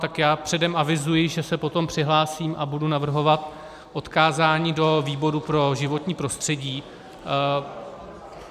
Tak já předem avizuji, že se potom přihlásím a budu navrhovat odkázání do výboru pro životní prostředí.